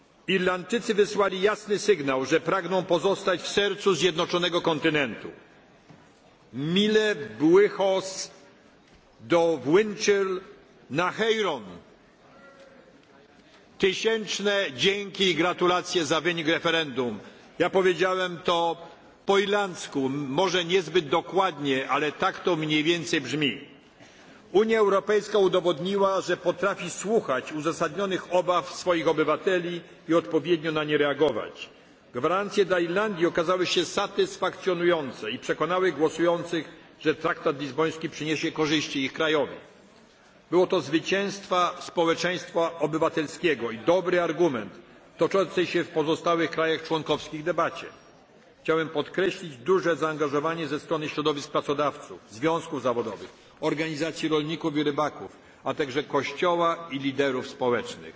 Irlandczycy wysłali jasny sygnał, że pragną pozostać w sercu zjednoczonego kontynentu. Míle buíochas do mhuintir na hÉireann. Tysięczne dzięki i gratulacje za wynik referendum. Ja powiedziałem to po irlandzku, może niezbyt dokładnie, ale tak to mniej więcej brzmi. Unia Europejska udowodniła, że potrafi słuchać uzasadnionych obaw swoich obywateli i odpowiednio na nie reagować. Gwarancje dla Irlandii okazały się satysfakcjonujące i przekonały głosujących, że traktat lizboński przyniesie korzyści ich krajowi. Było to zwycięstwo społeczeństwa obywatelskiego i dobry argument w toczącej się w pozostałych krajach członkowskich debacie. Chciałbym podkreślić duże zaangażowanie ze strony środowisk pracodawców, związków zawodowych, organizacji rolników i rybaków, a także Kościoła i liderów społecznych.